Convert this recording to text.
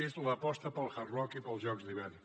és l’aposta pel hard rock i pels jocs d’hivern